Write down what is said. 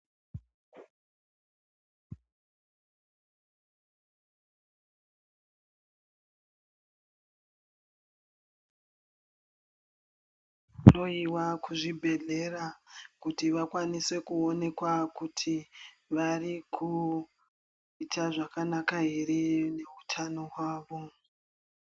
Kuhloyiwa kuzvibhedhlera kuti vakwanise kuwonekwa kuti variku yita zvakanaka here newutano wawo.